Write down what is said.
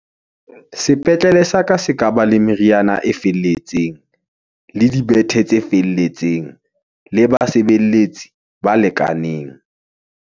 sepetlele sa ka se ka ba le meriana e felletseng , le di bethe tse felletseng , le basebeletsi ba lekaneng.